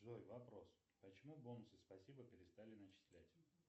джой вопрос почему бонусы спасибо перестали начислять